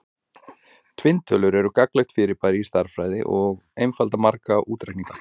Tvinntölur eru mjög gagnlegt fyrirbæri í stærðfræði og einfalda marga útreikninga.